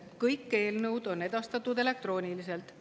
Kõik eelnõud on edastatud elektrooniliselt.